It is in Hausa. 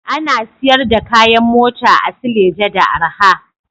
Ana siyar da kayan mota a Suleja da arha